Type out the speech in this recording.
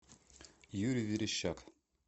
юрий верещак